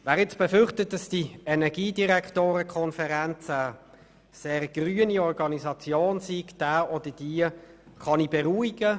Wird nun befürchtet, dass die EnDK eine sehr grüne Organisation ist, dann kann ich beruhigen.